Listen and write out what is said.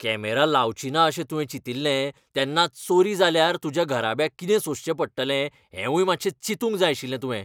Camera लावचीना अशें तुवें चितिल्लें तेन्नाच चोरी जाल्यार तुज्या घराब्याक कितें सोंसचें पडटलें हेंवूय मात्शें चिंतूंक जाय आशिल्लें तुवें.